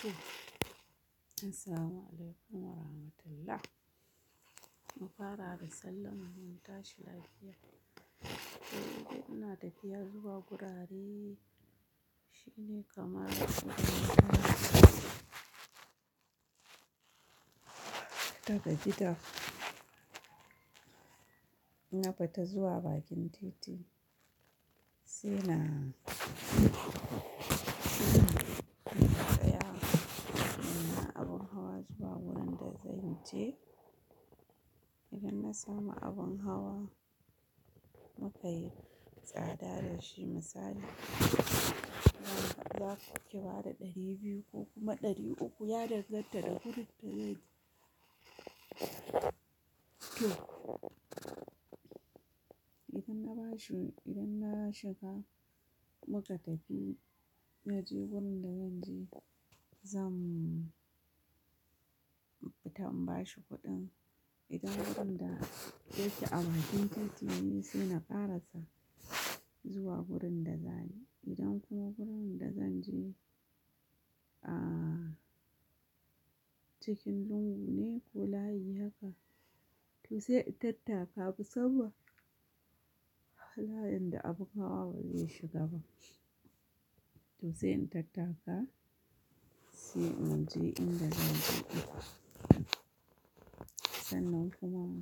To. Assalamualaikum warahmatullahi. Mufara da sallama mun tashi lafiya. To, yanzu ina tafiya zuwa gurare. Shine kamar ta gabita. In bata zuwa bakin titi sai na, sai na tsaya. Ina abin hawa zuwa wurin da zanyi. To, idan na samu abin hawa muka yi tsada da shi misali, za ku ki bada ɗari biyu ko kuma ɗari uku ya danganta da wurin da zai je. To, idan na bashi idan na shiga muka tafi ya je wurin da zan je zamu fita in bashi kuɗin. Idan wurin da yake a bakin titi ne sai na ƙarasa zuwa wurin da zani Idan kuma wurin da zan je a cikin lungu ne ko layi haka to sai in tattaka. Musamman akwai layinda abin hawa bai shiga ba to sai in tattaka sai mu je inda zan je. Sannan kuma